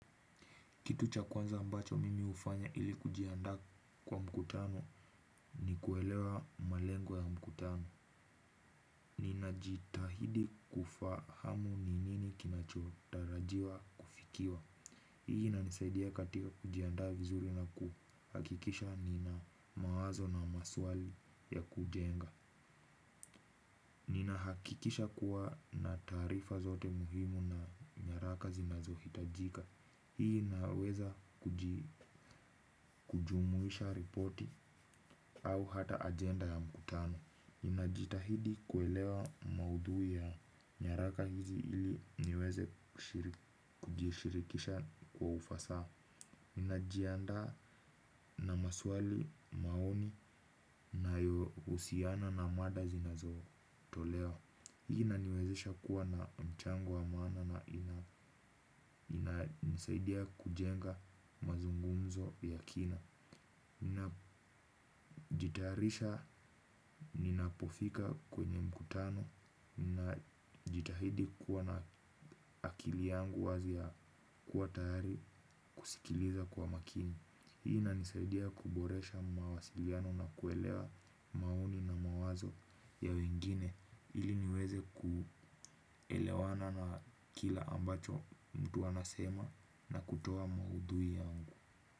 Kitu cha kwanza ambacho mimi hufanya ili kujiandaa kwa mkutano ni kuelewa malengo ya mkutano. Ninajitahidi kufahamu ni nini kinachotarajiwa kufikiwa. Hii inanisaidia katika kujiandaa vizuri na kuhakikisha nina mawazo na maswali ya kujenga. Ninahakikisha kuwa nina taarifa zote muhimu na nyaraka zinazohitajika. Hii inaweza kujumuisha ripoti au hata ajenda ya mkutano. Ninajitahidi kuelewa maudhui ya nyaraka hizi ili niweze kujishirikisha kwa ufasaha. Ninajiandaa na maswali maoni nayohusiana na mada zinazotolewa. Hii inaniwezesha kuwa na mchango wa maana na inanisaidia kujenga mazungumzo ya kina. Ninajitarisha ninapofika kwenye mkutano na jitahidi kuwa na akili yangu wazi ya kuwa tayari kusikiliza kwa makini. Hii inanisaidia kuboresha mawasiliano na kuelewa maoni na mawazo ya wengine ili niweze kuelewana na kila ambacho mtu anasema na kutoa maudhui yangu.